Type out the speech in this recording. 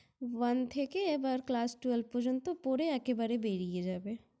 One থেকে এবার Class Twelve পর্যন্ত পড়ে একেবারে বেরিয়ে যাবে।